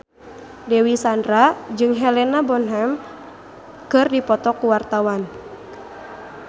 Dewi Sandra jeung Helena Bonham Carter keur dipoto ku wartawan